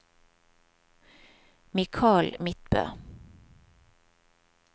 Michael Midtbø